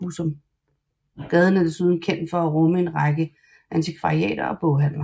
Gaden er desuden kendt for at rumme en række antikvariater og boghandler